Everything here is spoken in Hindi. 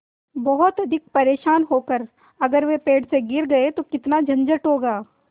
बहुत अधिक परेशान होकर अगर वे पेड़ से गिर गए तो कितना झंझट होगा